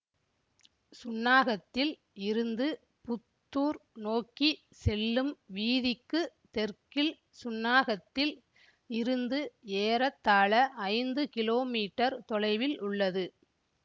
சுன்னாகத்தில் இருந்து புத்தூர் நோக்கி செல்லும் வீதிக்குத் தெற்கில் சுன்னாகத்தில் இருந்து ஏறத்தாழ ஐந்து கிலோமீட்டர் தொலைவில் உள்ளது